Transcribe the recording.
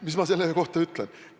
Mis ma selle kohta ütlen?